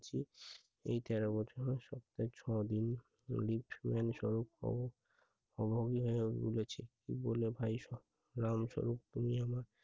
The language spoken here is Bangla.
এই তেরো বছর সপ্তাহে ছ-দিন অলিভ পরিমান সড়ক ও বলেছে। বলে ভাই রামচ তুমি আমার